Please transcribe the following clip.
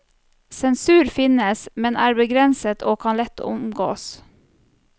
Sensur finnes, men er begrenset og kan lett omgås.